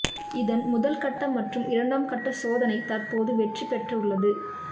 இதன் முதல் கட்ட மற்றும் இரண்டாம் கட்ட சோதனை தற்போது வெற்றிபெற்றுள்ளது